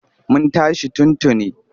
Mun tashi tun tuni.